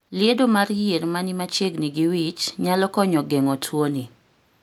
Liedo mar yier mani machiengni gi wich nyalo konyo geng'o tuo ni